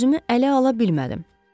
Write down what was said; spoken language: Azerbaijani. Özümü ələ ala bilmədim.